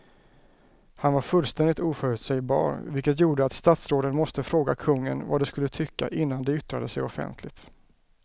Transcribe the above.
Han var fullständigt oförutsägbar vilket gjorde att statsråden måste fråga kungen vad de skulle tycka innan de yttrade sig offentligt.